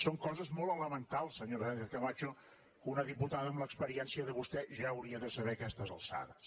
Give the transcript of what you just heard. són coses molt elementals senyora sánchez camacho que una diputada amb l’experiència de vostè ja hauria de saber a aquestes alçades